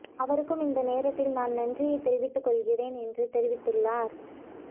அவருக்கும் இந்த நேரத்தில் நான் நன்றியை தெரிவித்துக் கொள்கிறேன் என்று தெரிவித்துள்ளார்